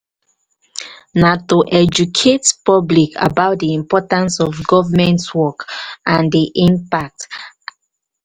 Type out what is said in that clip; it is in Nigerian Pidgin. na to educate public about di importance of government work and de impacts.